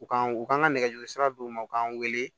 U ka u kan ka nɛgɛjuru sira d'u ma u k'an wele